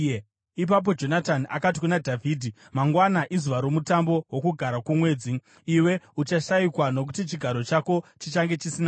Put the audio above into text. Ipapo Jonatani akati kuna Dhavhidhi, “Mangwana izuva romutambo woKugara kwoMwedzi. Iwe uchashayikwa, nokuti chigaro chako chichange chisina munhu.